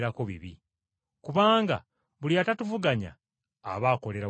Kubanga buli atatuvuganya aba akolera wamu naffe.